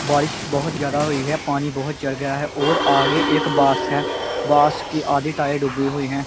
ਬਾਰਿਸ਼ ਬਹੁਤ ਜਿਆਦਾ ਹੋਈ ਹੈ ਪਾਣੀ ਬਹੁਤ ਚੜ ਗਿਆ ਹੈ ਔਰ ਆਗੇ ਇਕ ਬਾਸ ਹੈ ਬਾਸ ਕੀ ਅੱਧੇ ਟਾਇਰ ਡੁਬੇ ਹੁਏ ਹੈ।